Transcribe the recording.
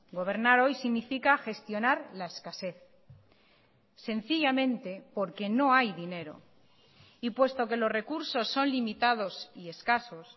gobernar hoy significa gestionar la escasez sencillamente porque no hay dinero y puesto que los recursos son limitados y escasos